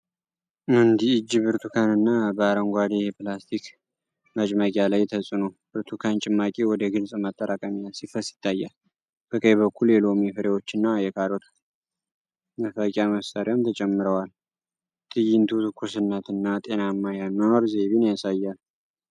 አንድ እጅ ብርቱካንን በአረንጓዴ የፕላስቲክ መጭመቂያ ላይ ተጭኖ ብርቱካን ጭማቂ ወደ ግልጽ ማጠራቀሚያ ሲፈስ ይታያል። በቀኝ በኩል የሎሚ ፍሬዎችና የካሮት መፍቂያ መሳሪያም ተጨምረዋል። ትዕይንቱ ትኩስነትን እና ጤናማ የአኗኗር ዘይቤን ያሳያል።